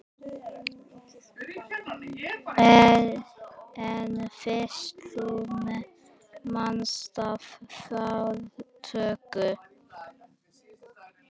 En fyrst þú minntist á fartölvu.